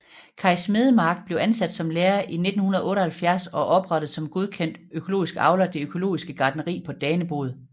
Kaj Smedemark blev ansat som lærer i 1978 og oprettede som godkendt økologisk avler det økologiske gartneri på Danebod